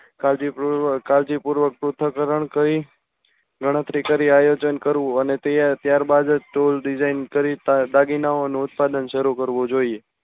કાળજી પૂર્વક કાળજી પૂર્વક પૃથકરણ કરી ગણતરી કરી આયોજન કરવું અને તે ત્યાર બાદ tool design કરી દાગીનાઓનું ઉત્પાદન શરુ કરવું જોઈએ